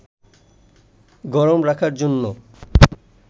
গরম রাখার জন্য